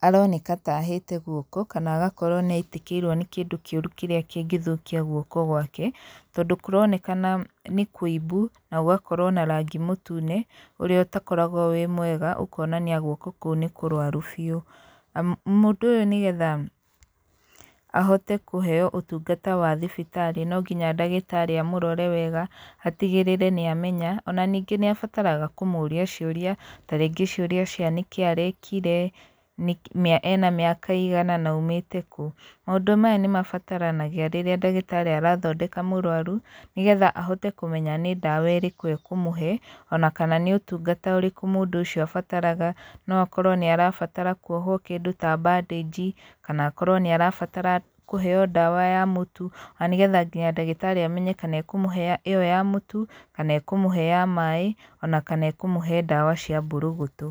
aroneka ta ahĩte guoko, kana agokorwo nĩ aitĩkĩirwo nĩ kĩndũ kĩũru kĩrĩa kĩngĩthũkia guoko gwake, tondũ kũronekana nĩ kũimbu, na gũgakorwo na rangi mũtune, ũrĩa ũtakoragwo wĩ mwega ũkonania guoko kũu nĩ kũrwaru biũ. Mũndũ ũyũ nĩgetha ahote kũheo ũtungata wa thibitarĩ no nginya ndagĩtarĩ amũrore wega, atigĩrĩre nĩ amenya, ona ningĩ nĩ abataraga kũmũũria ciũria, tarĩngĩ ciũria cia nĩkĩ arekire, ena mĩaka ĩigana, na aumĩte kũ. Maũndũ maya nĩ mabataranagia rĩrĩa ndagĩtarĩ arathondeka mũrwaru, nĩ getha ahote kũmenya nĩ ndawa ĩrĩkũ ekũmũhe, ona kana nĩ ũtungata ũrĩkũ mũndũ ũcio abataraga, no akorwo nĩ arabatara kuohwo kĩndũ ta bandĩnji, kana akorwo nĩ arabatara kũheo ndawa ya mũtu, na nĩgetha nginya ndagĩtarĩ amenye kana ekũmũhe ĩyo ya mũtu, kana ekũmũhe ya maĩ ona kana ekũmũhe ndawa cia mbũrũgũtũ.